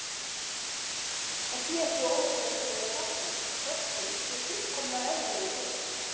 Það sé ekkert óeðlilegt við að vera fatlaður, fötlun sé fullkomlega eðlilegur hlutur.